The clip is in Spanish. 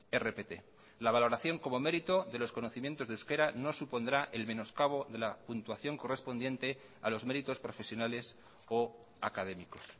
rpt la valoración como mérito de los conocimientos de euskera no supondrá el menoscabo de la puntuación correspondiente a los méritos profesionales o académicos